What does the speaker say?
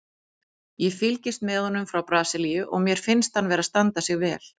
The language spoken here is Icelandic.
Ég fylgist með honum frá Brasilíu og mér finnst hann vera að standa sig vel.